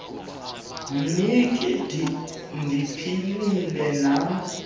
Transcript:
mhinki ndiphilile nam